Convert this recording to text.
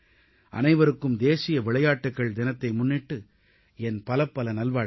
அனைவருக்கும் தேசிய விளையாட்டுகள் தினத்தை முன்னிட்டு என் பலப்பல நல்வாழ்த்துகள்